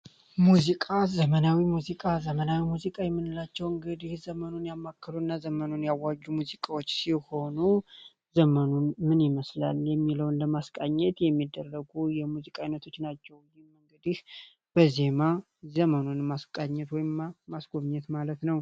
ሙዚቃ ዘመናዊ ሙዚቃ ዘመናዊ ሙዚቃ የምንላቸው እንግዲህ ዘመኑን ያማከሉ እና ዘመኑን ያዋጁ ሙዚቃዎች ሲሆኑ ዘመኑን ምን መስላል የሚለውን ለማስቃኘት የሚደረጉ የሙዚቃ አይነቶች ናቸው። እንግዲህ በዜማ ዘመኑን ማስቃኘት ወይም ማስጎብኘት ማለት ነው።